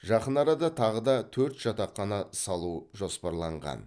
жақын арада тағы да төрт жатақхана салу жоспарланған